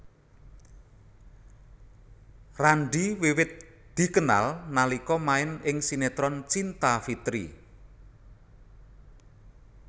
Randy wiwit dikenal nalika main ing sinetron Cinta Fitri